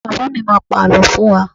Baba mi má pá àlọ́ fún wá